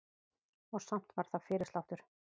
Og samt var það fyrirsláttur.